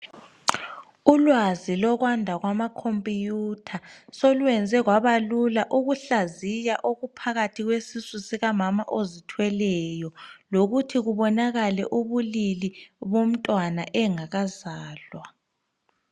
Ulwazi lokwanda kwamakhompuyutha solwenze kwabalula ukuhlaziya okuphakathi kwesisu sikamama ozithweleyo lokuthi kubonakale ubulili bomntwana engakazalwa.